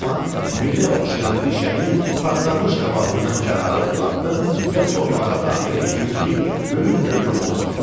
Bu zaman milə oxşayan rişəmi partlamış qabağımdan kənara uzatdım və torpağa daxil etdim ki, böyük köküm olsun.